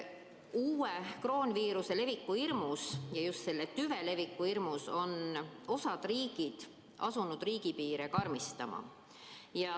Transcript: Uue kroonviiruse, just selle uue tüve leviku hirmus on osa riike asunud riigipiiril karmistama.